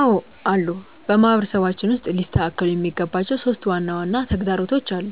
አዎ አሉ። በማህበረሰባችን ውስጥ ሊስተካከሉ የሚገባቸው 3 ዋና ዋና ተግዳሮቶች አሉ።